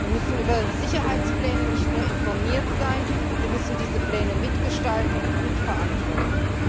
Wir müssen über Sicherheitspläne nicht nur informiert sein, wir müssen diese Pläne mitgestalten und mitverantworten.